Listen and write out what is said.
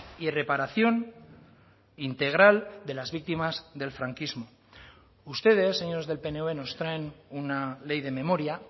y reparación integral de las víctimas del franquismo ustedes señores del pnv nos traen una ley de memoria